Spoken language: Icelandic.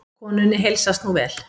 Konunni heilsast nú vel.